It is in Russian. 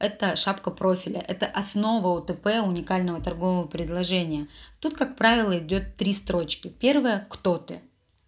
это шапка профиля это основа утп уникального торгового предложения тут как правило идёт три строчки первая кто ты